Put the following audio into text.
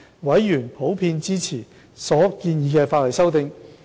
委員普遍支持所建議的法例修訂。